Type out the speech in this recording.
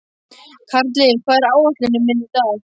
Karli, hvað er á áætluninni minni í dag?